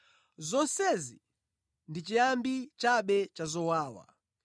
Zonsezi ndi chiyambi chabe cha zowawa.